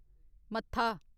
मत्था